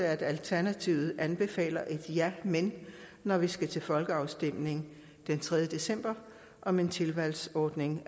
at alternativet anbefaler et ja men når vi skal til folkeafstemning den tredje december om en tilvalgsordning